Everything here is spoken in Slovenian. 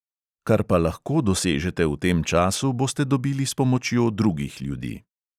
Kar pa lahko dosežete v tem času, boste dobili s pomočjo drugih ljudi.